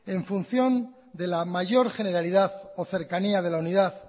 en función de la mayor de la generalidad o cercanía de la unidad